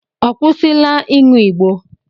Ọ kwụsịla ịṅụ ịgbó?